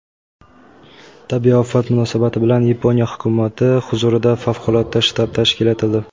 Tabiiy ofat munosabati bilan Yaponiya hukumati huzurida favqulodda shtab tashkil etildi.